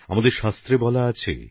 আমাদের শাস্ত্রে বলা হয়েছে